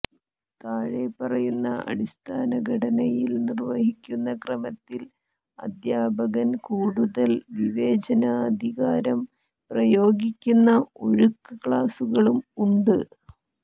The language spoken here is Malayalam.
താഴെ പറയുന്ന അടിസ്ഥാന ഘടനയിൽ നിർവഹിക്കുന്ന ക്രമത്തിൽ അധ്യാപകൻ കൂടുതൽ വിവേചനാധികാരം പ്രയോഗിക്കുന്ന ഒഴുക്ക് ക്ലാസുകളും ഉണ്ട്